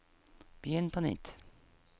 begynn på nytt